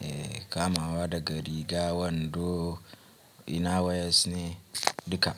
Eh kamawa daga riga, wando, inner wears ne duka.